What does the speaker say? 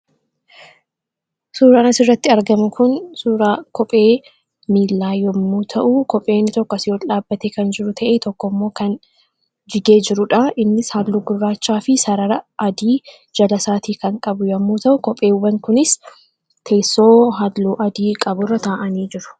Suuraan asirratti argame kun suuraa kophee miilaa yommuu ta'u kopheei nni tokko asi, ool dhaabbate kan jiru ta'ee tokko immoo kan jigee jiruudha innis halluu gurraachaa fi sarara adii jala saatii kan qabu yommuu ta'u kopheewwan kunis teessoo halluu adii qaburra taa'anii jiru.